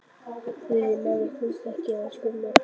Þriðji maðurinn fannst ekki fyrr en skömmu eftir dögun.